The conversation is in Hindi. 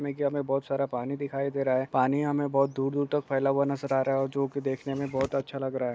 --मे के हमे बहोत सारा पानी दिखाई दे रहा हैं पानी हमे बहुत दूर दूर तक फैला हुआ नजर आ रहा हैं जो की देखने मे बहुत अच्छा लग रहा है।